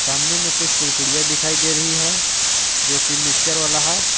सामने में कुछ कुड़कुडिया दिखाई दे रही है जो की मिक्चर वाला है।